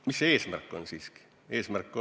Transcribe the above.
Mis see eesmärk siiski on?